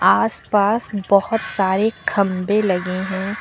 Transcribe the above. आस पास बोहोत सारे खंभे लगे हैं।